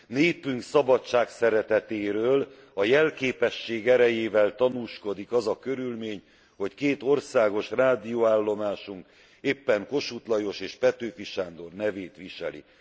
Népünk szabadságszeretetéről a jelképesség erejével tanúskodik az körülmény, hogy két országos rádióállomásunk éppen Kossuth Lajos és Petőfi Sándor nevét viselik.